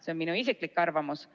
See on minu isiklik arvamus.